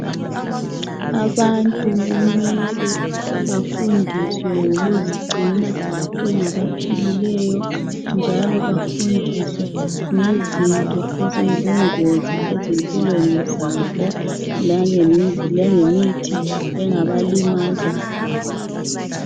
Abantu mele bafundiswe ngokuzigcina bengabaphilileyo njalo bafundiswe ngezinto eziyibungozi empilweni zabo langemithi engabalimaza.